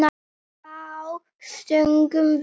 Þá stungum við